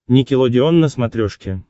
никелодеон на смотрешке